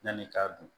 Yan'i k'a dun